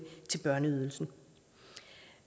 børneydelsen